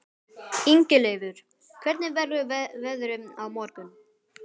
Ingileifur, hvernig verður veðrið á morgun?